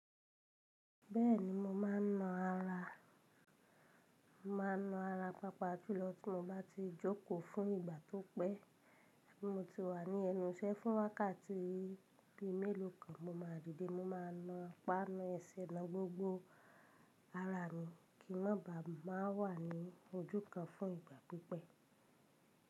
Bẹ́ẹ̀ni mo ma ń na ara, mo ma ń na ara papa jùlọ tí mo bá ti jókò fún ìgbà tó pẹ́. Tí mo ti wà ní ẹnu iṣẹ́ fún wákàtí bíi meelo kan mo ma dìde, mo ma na apana ẹsẹ̀ na gbogbo ara mi kí n bá má wà ní ojú kan fún ìgbà pípẹ́.